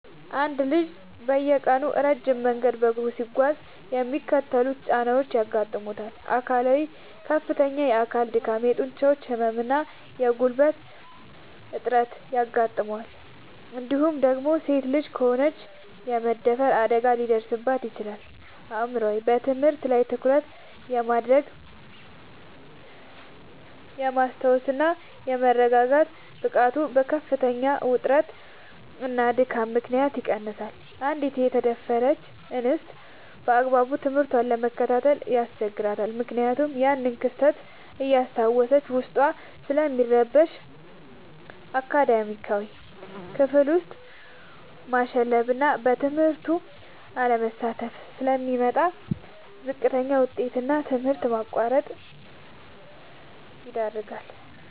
አንድ ልጅ በየቀኑ ረጅም መንገድ በእግሩ ሲጓዝ የሚከተሉት ጫናዎች ያጋጥሙታል፦ አካላዊ፦ ከፍተኛ የአካል ድካም፣ የጡንቻ ህመም እና የጉልበት እጥረት ያጋጥመዋል እንዲሁም ደግሞ ሴት ልጅ ከሆነች የመደፈር አደጋ ሊደርስባት ይችላል። አእምሯዊ፦ በትምህርት ላይ ትኩረት የማድረግ፣ የማስታወስ እና የመረጋጋት ብቃቱ በከፍተኛ ውጥረትና ድካም ምክንያት ይቀንሳል: አንዲት የተደፈረች እንስት ባግባቡ ትምህርቷን መከታተል ያስቸግራታል ምክንያቱም ያንን ክስተት እያስታወሰች ዉስጧ ስለሚረበሽ። አካዳሚያዊ፦ ክፍል ውስጥ ማሸለብና በትምህርቱ አለመሳተፍ ስለሚመጣ: ለዝቅተኛ ውጤት እና ለትምህርት ማቋረጥ ይዳረጋል።